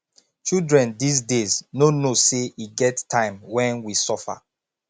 children dis days no know say e get time wen we suffer